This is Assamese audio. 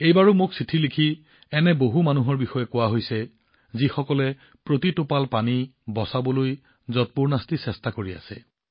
এইবাৰো মোক চিঠি লিখি কোৱা হৈছে এনে বহু মানুহৰ বিষয়ে যিসকলে প্ৰতিটো টোপাল পানী বচাবলৈ যৎপৰোনাস্তি চেষ্টা কৰি আছে